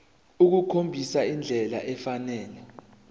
ukukhombisa indlela efanele